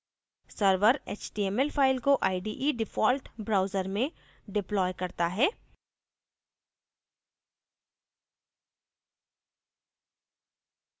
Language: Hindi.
server html file को ide default browser में deploys करता है